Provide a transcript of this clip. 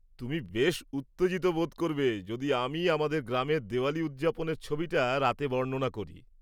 তুমি বেশ উত্তেজিত বোধ করবে যদি আমি আমাদের গ্রামের দিওয়ালী উদযাপনের ছবিটা রাতে বর্ণনা করি।